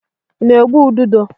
I na-egbu ududo?